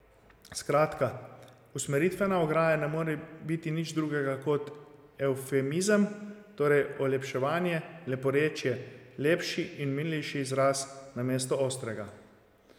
Skratka, usmeritvena ograja ne more biti nič drugega kot evfemizem, torej olepševanje, leporečje, lepši in milejši izraz namesto ostrega.